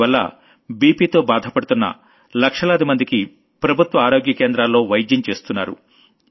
దానివల్ల blood pressure తో బాధపడుతున్న లక్షలాదిమందికి ప్రభుత్వ ఆరోగ్య కేంద్రాల్లో వైద్యం చేస్తున్నారు